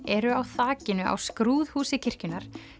eru á þakinu á skrúðhúsi kirkjunnar